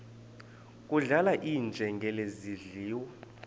kudlala iinjengele zidliwa